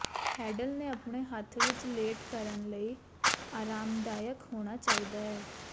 handle ਨੇ ਆਪਣੇ ਹੱਥ ਵਿੱਚ ਲੇਟ ਕਰਨ ਲਈ ਆਰਾਮਦਾਇਕ ਹੋਣਾ ਚਾਹੀਦਾ ਹੈ